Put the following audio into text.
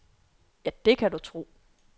Ja, det kan du tro.